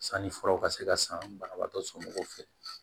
Sanni furaw ka se ka san banabaatɔ somɔgɔw fɛ